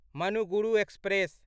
Manuguru express